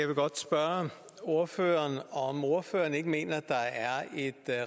vil godt spørge ordføreren om ordføreren ikke mener at der er et